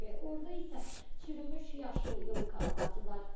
Orda isə çürümüş yaşıl yolka ağacı var.